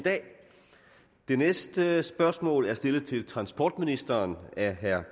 det næste spørgsmål er stillet til transportministeren af herre